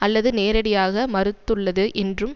அல்லது நேரடியாக மறுத்துள்ளது என்றும்